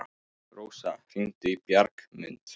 Rósa, hringdu í Bjargmund.